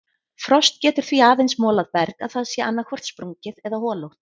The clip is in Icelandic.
Frost getur því aðeins molað berg að það sé annaðhvort sprungið eða holótt.